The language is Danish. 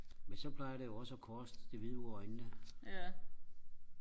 men så plejer det jo også og koste det hvide ud af øjnene